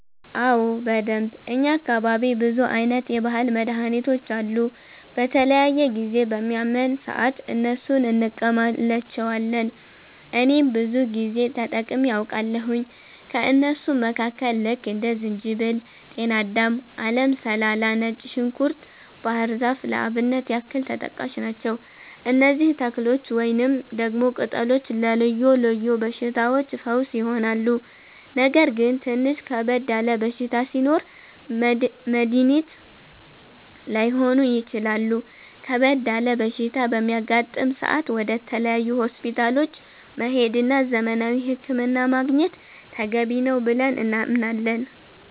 አዎ በደንብ፣ እኛ አካባቢ ብዙ አይነት የባህል መድሀኒቶች አሉ። በተለያየ ጊዜ በሚያመን ሰአት እነሱን እንቀማለቸዋለን እኔም ብዙ ጊዜ ተጠቅሜ አቃለሁኝ። ከእነሱም መካከል ልክ እንደ ዝንጅበል፣ ጤናዳም፣ አለም ሰላላ፣ ነጭ ዝንኩርት፣ ባህር ዛፍ ለአብነት ያክል ተጠቃሽ ናቸው። እነዚህ ተክሎች ወይንም ደግሞ ቅጠሎች ለልዮ ልዮ በሽታዎች ፈውስ ይሆናሉ። ነገር ግን ትንሽ ከበድ ያለ በሽታ ሲኖር መድኒት ላይሆኑ ይችላሉ ከበድ ያለ በሽታ በሚያጋጥም ሰአት ወደ ተለያዩ ሆስፒታሎች መሄድ እና ዘመናዊ ህክምና ማግኘት ተገቢ ነው ብለን እናምናለን።